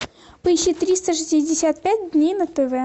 поищи триста шестьдесят пять дней на тв